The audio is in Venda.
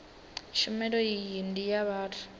tshumelo iyi ndi ya vhathu